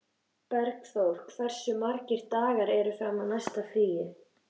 Bergþór, hversu margir dagar fram að næsta fríi?